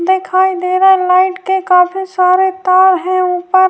دکھائی دے رہا ہے لائٹ کے کافی سارے تار ہیں- اوپر